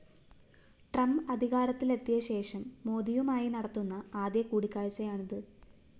Trump അധികാരത്തിലെത്തിയ ശേഷം മോദിയുമായി നടത്തുന്ന ആദ്യ കൂടിക്കാഴ്ചയാണിത്